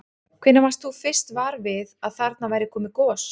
Hvenær varst þú fyrst var við að þarna væri komið gos?